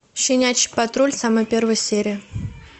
щенячий патруль самая первая серия